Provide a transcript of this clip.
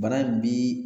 Bana bi